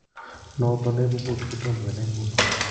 Noton neibu POTS kotom kenai ngunon